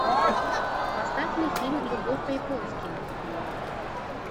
поставь мне фильм любовь по японски